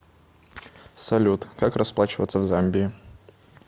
салют как расплачиваться в замбии